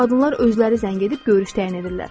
Qadınlar özləri zəng edib görüş təyin edirlər.